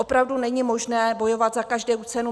Opravdu není možné bojovat za každou cenu.